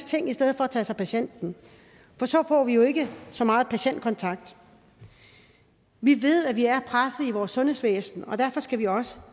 ting i stedet for at tage sig af patienten for så får vi jo ikke så meget patientkontakt vi ved at vores sundhedsvæsen og derfor skal vi også